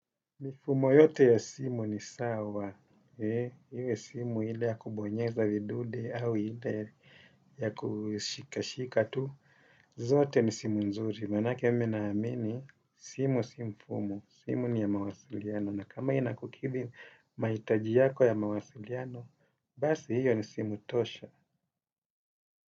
Mifumo yote ya simu ni sawa, iwe simu ile ya kubonyeza vidude au ile ya kushikashika tu, zote ni simu nzuri. Manake mimi naamini, simu si mfumo, simu ni ya mawasiliano. Na kama inakukithi maitaji yako ya mawasiliano, basi hiyo ni simu tosha.